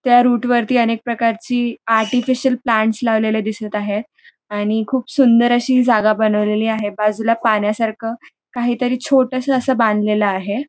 त्या रूट वरती अनेक प्रकारची आर्टिफिशियल प्लांट्स लावलेले दिसत आहेत आणि खूप सुंदर अशी ही जागा बनवलेली आहे बाजूला पाण्यासारख काहीतरी छोटस अस बांधलेल आहे.